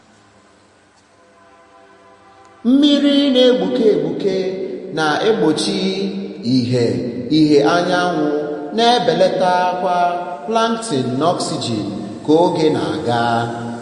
mmiri na-egbuke egbuke na-egbochi ìhè ìhè anyanwụ na-ebelata ọkwa plankton na oxygen ka oge na-aga.